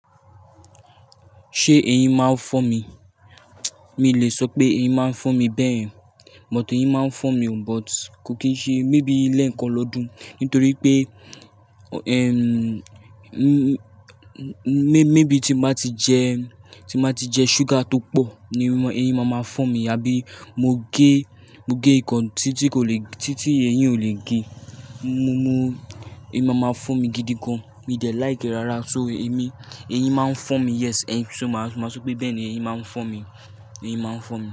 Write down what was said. Ṣé eyín máa ń fọ́n mi? Mi lè sọ pé eyín máa ń fọ́n mi bẹ́ẹ̀. But eyín máa ń fọ́n mi o, but kò kín ṣe maybe lẹ́ẹ̀kan lọ́dún nítorí pé, ehm, m-m-maybe tí mo bá ti jẹ, tí mo bá ti jẹ ṣúgà tó pọ̀ ni eyín máa ma fọ́n mi. Tabí mo gé, mo gé nǹkan tí tí kò le, tí tí eyín ò lè gé, mo mú, eyín máa ma fọ́n mi gidi gan. Mi de like rárá so emi, eyín máa ń fọ́n mi yes. Eyín, so màá, màá sọ pé bẹ́ẹ̀ ni eyín máa ń fọ́n mi. Eyín máa ń fọ́n mi.